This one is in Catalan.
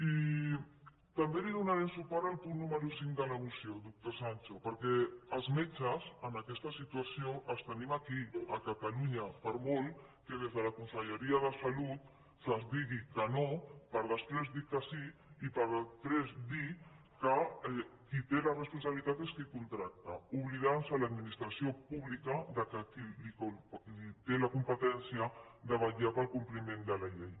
i també li donarem suport al punt número cinc de la moció doctor sancho perquè els metges en aquesta situació els tenim aquí a catalunya per molt que des de la con·selleria de salut se’ns digui que no per després dir que sí i per després dir que qui té la responsabilitat és qui els contracta i s’oblida l’administració pública de qui té la competència de vetllar pel compliment de la llei